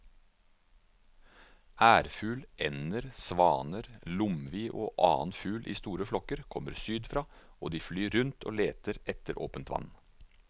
Ærfugl, ender, svaner, lomvi og annen fugl i store flokker kommer sydfra og de flyr rundt og leter etter åpent vann.